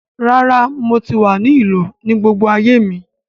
Rára, mo tí wa ni ìlú ní gbogbo ayé mi